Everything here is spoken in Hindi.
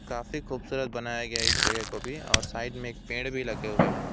काफी खूबसूरत बनाया गया इस जगह को भी और साइड में एक पेड़ भी लगे हुए है।